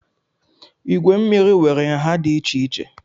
Igwe mmiri nwere nha dị iche iche